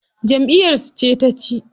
Jamʼiyar su ce taci.